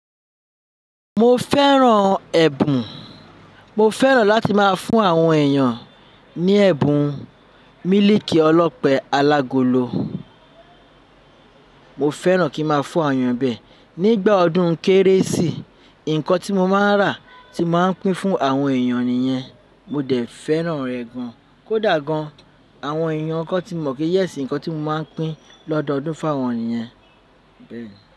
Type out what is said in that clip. Mo fẹ́ràn ẹ̀bùn. Mo fẹ́ràn láti má a fún àwọn èèyàn ní ẹ̀bùn mílíkì ọlọ́pẹ alágolo. Mo fẹ́ràn kí n ma fún àwọn èèyàn bẹ́ẹ̀. Nígbà ọdún kérésì, ǹkan tí mo máa ń rà tí n máa ń pín fún àwọn èèyàn nìyẹn. Mo dẹ̀ fẹ́ràn ẹ̀ gan. Kódà gan, àwọn èèyàn kan ti mọ̀ pé yes ǹkan tí mo maan pín lọ́dọọdún fáwọn nìyẹn bẹ́ẹ̀ ni.